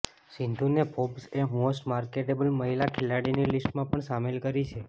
સિંધુને ફોર્બ્સએ most marketable મહિલા ખેલાડીની લિસ્ટમાં પણ સામેલ કરી છે